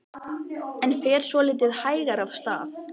Jóhann: En fer svolítið hægar af stað?